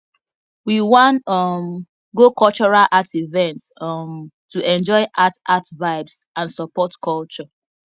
we wan um go cultural art event um to enjoy art art vibes and support culture